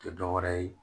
Tɛ dɔ wɛrɛ ye